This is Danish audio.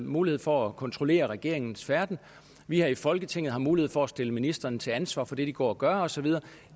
mulighed for at kontrollere regeringens færden vi har i folketinget mulighed for at stille ministrene til ansvar for det de går og gør og så videre